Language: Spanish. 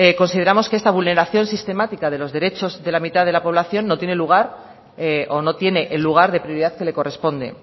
consideramos que esta vulneración sistemática de los derechos de la mitad de la población no tiene lugar o no tiene el lugar de prioridad que le corresponde